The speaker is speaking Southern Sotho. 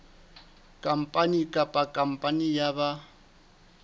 khampani kapa khampani ya ba